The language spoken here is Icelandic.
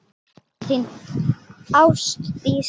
Sendi góðan koss, þín Ástdís.